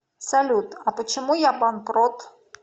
салют а почему я банкрот